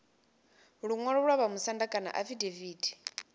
luṅwalo lwa vhamusanda kana afidaviti